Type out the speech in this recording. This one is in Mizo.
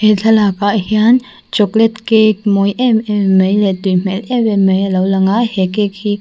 he thlalak ah hian chocolate cake mawi em em mai leh tui hmel em em mai alo lang a he cake hi.